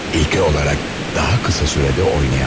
İlke olarak daha kısa sürede oynayamam.